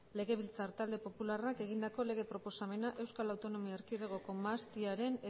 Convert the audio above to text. legebiltzar talde popularrak egindako lege proposamena euskal autonomia erkidegoko mahastiaren